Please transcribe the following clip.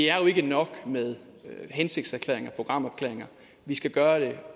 er jo ikke nok med hensigtserklæringer og programerklæringer vi skal gøre det